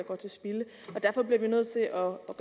gøre